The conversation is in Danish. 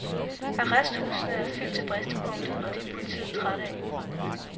Arresthusene er fyldt til bristepunktet, og det er politiet trætte af.